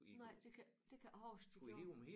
Nej det kan det kan jeg ikke huske de gjorde